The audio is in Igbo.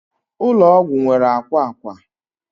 ụlọ ọgwụ nwere akwa akwa